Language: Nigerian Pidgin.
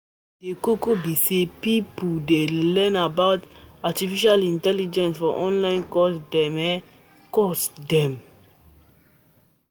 Di koko be sey pipo dey learn about artificial intelligence for online course dem. course dem.